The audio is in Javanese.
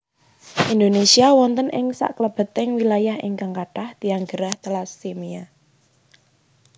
Indonesia wonten ing saklebeting wilayah ingkang kathah tiyang gerah telasemia